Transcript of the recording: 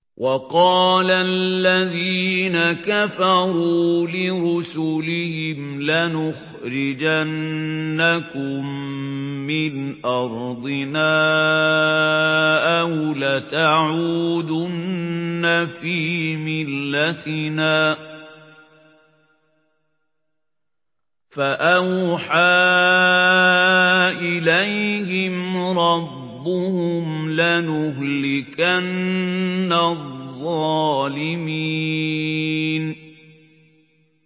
وَقَالَ الَّذِينَ كَفَرُوا لِرُسُلِهِمْ لَنُخْرِجَنَّكُم مِّنْ أَرْضِنَا أَوْ لَتَعُودُنَّ فِي مِلَّتِنَا ۖ فَأَوْحَىٰ إِلَيْهِمْ رَبُّهُمْ لَنُهْلِكَنَّ الظَّالِمِينَ